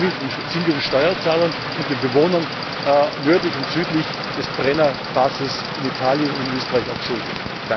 Das sind wir den Steuerzahlern und den Bewohnern nördlich und südlich des Brenner Basistunnels in Italien und Österreich auch schuldig.